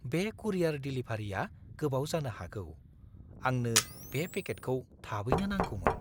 बे कुरियार डिलिभारिया गोबाव जानो हागौ, आंनो बे पेकेटखौ थाबैनो नांगौमोन।